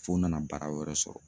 F'o nana baara wɛrɛ sɔrɔ.